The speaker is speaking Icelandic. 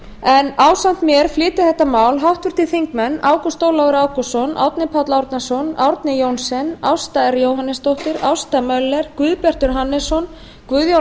en ásamt mér flytja þetta mál háttvirtir þingmenn ágúst ólafur ágústsson árni páll árnason árni johnsen ásta r jóhannesdóttir ásta möller guðbjartur hannesson guðjón